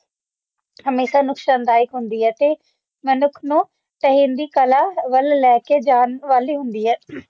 ਹੇਮੇਸ਼ਾ ਨੁਕਸਾਨਦਾਇਕ ਹੁੰਦੀ ਹੈ ਤੇ ਮਨੁੱਖ ਨੂੰ ਢਹਿੰਦੀ ਕਲਾ ਵੱਲ ਲੈ ਕੇ ਜਾਣ ਵਾਲੀ ਹੁੰਦੀ ਹੈ